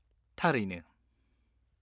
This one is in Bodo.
थारैनो!